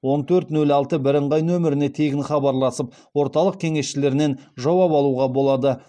он төрт нөл алты бірыңғай нөміріне тегін хабарласып орталық кеңесшілерінен жауап алуға болады